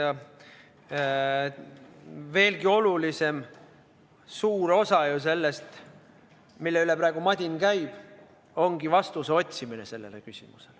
Ja mis veelgi olulisem, suur osa sellest, mille üle praegu madin käib, ongi sellele küsimusele vastuse otsimine.